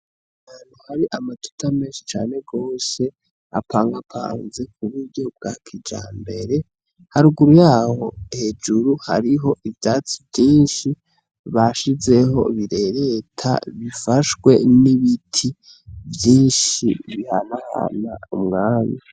Hantu hari amatuta menshi cane gosye apangapanze ku buryo bwa kija mbere haruguru yaho hejuru hariho ivyatsi vyinshi bashizeho birereta bifashwe n'ibiti vyinshi bihanahana umwami.